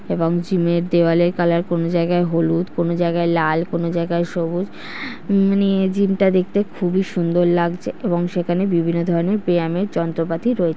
এবং জিম -এর দেওয়ালের কালার কোনো জায়গায় হলুদ কোন জায়গায় লাল কোন জায়গায় সবুজ মানে জিম -টা দেখতে খুবই সুন্দর লাগছে এবং সেখানে বিভিন্ন ধরনের পিয়ানোর যন্ত্রপাতি রয়েছে।